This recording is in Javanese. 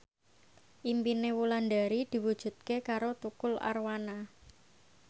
impine Wulandari diwujudke karo Tukul Arwana